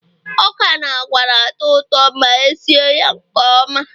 ọka na agwa na-atọ ụtọ ma esi ya nke ọma